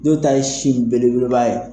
Dɔw ta ye sin belebeleba ye.